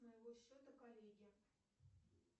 с моего счета коллеге